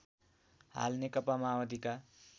हाल नेकपा माओवादीका